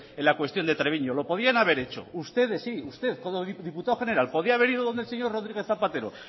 en la cuestión de treviño lo podían haber hecho usted sí como diputado general podía haber ido donde el señor rodríguez zapatero